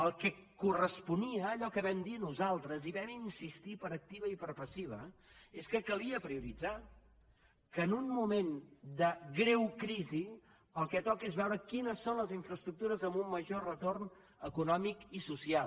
el que corresponia allò que vam dir nosaltres i hi vam insistir per activa i per passiva és que calia prioritzar que en un moment de greu crisi el que toca és veure quines són les infraestructures amb un major retorn econòmic i social